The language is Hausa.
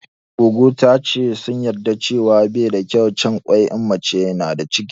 Goggo ta ce sun yarda cewa bai da kyau cin kwai in mace na da ciki